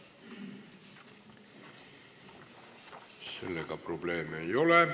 Sellega probleeme ei ole.